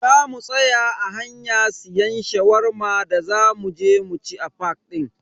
Zamu tsaya a hanya siyan Shawarma da za muje mu ci a fak din.